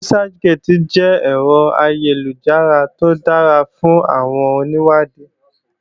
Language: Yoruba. Researchgate jẹ́ ẹ̀rọ ayélujára tó dára fún àwọn onìwádìí